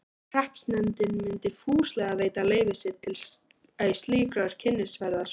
Hreppsnefndin myndi fúslega veita leyfi sitt til slíkrar kynnisferðar.